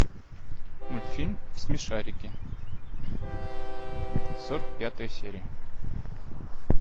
мультфильм смешарики сорок пятая серия